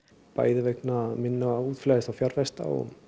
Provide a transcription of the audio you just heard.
bæði vegna minna útflæðis fjárfesta